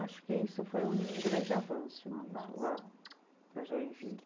Acho que isso foi um grande avanço mesmo lá, para Joinville.